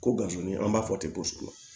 Ko gazi an b'a fɔ ten ko sugu